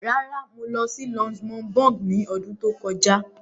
Rárá, mo lọ sí Luxembourg ní ọdún tó kọjá.